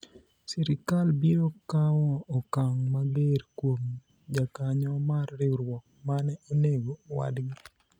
sirikal biro kawo okang' mager kuom jakanyo mar riwruok mane onego wadgi